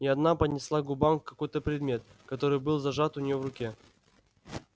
и она поднесла к губам какой-то предмет который был зажат у неё в руке